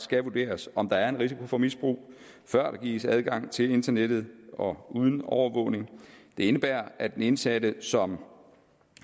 skal vurderes om der er en risiko for misbrug før der gives adgang til internettet og uden overvågning det indebærer at den indsatte som